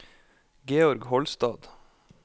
Georg Holstad